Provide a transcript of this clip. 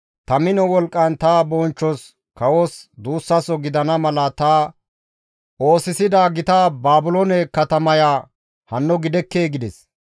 «Ta mino wolqqan ta bonchchos kawos duussaso gidana mala ta oosisida gita Baabiloone katamaya hanno gidekkee?» gides.